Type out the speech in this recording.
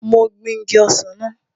Mo gbin igi ọsàn náà